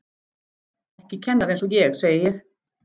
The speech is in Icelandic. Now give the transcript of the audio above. Ekki kennari einsog ég, segi ég.